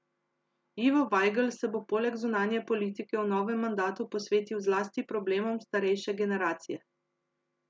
Ivo Vajgl se bo poleg zunanje politike v novem mandatu posvetil zlasti problemom starejše generacije.